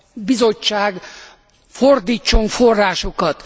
Bizottság fordítson forrásokat.